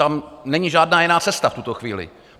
Tam není žádná jiná cesta v tuto chvíli.